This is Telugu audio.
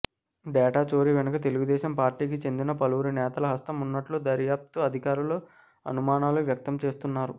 డేటా చోరీ వెనుక తెలుగుదేశం పార్టీకి చెందిన పలువురి నేతల హస్తం ఉన్నట్లు దర్యాప్తు అధికారులు అనుమానాలు వ్యక్తం చేస్తున్నారు